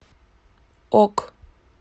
ок